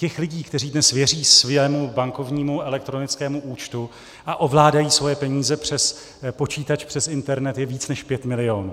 Těch lidí, kteří dnes věří svému bankovnímu elektronickému účtu a ovládají svoje peníze přes počítač přes internet, je více než 5 milionů.